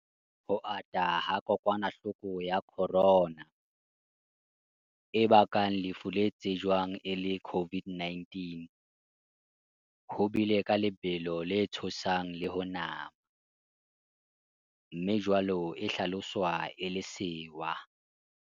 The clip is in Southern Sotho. Ho ata ha kokwanahloko ya corona, e bakang lefu le tsejwang e le COVID-19, ho bile ka lebelo le tshosang le ho nama, mme jwale e hlaloswa e le sewa.